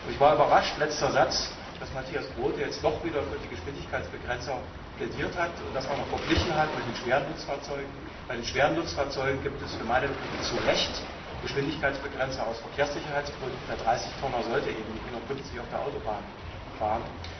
Ich war überrascht, dass Matthias Groote jetzt doch wieder für die Geschwindigkeitsbegrenzer plädiert hat und das auch noch mit den schweren Nutzfahrzeugen verglichen hat. Bei den schweren Nutzfahrzeugen gibt es für meine Begriffe zu Recht Geschwindigkeitsbegrenzer aus Verkehrssicherheitsgründen. Der 30 Tonner sollte eben nicht mit 150 km h auf der Autobahn fahren.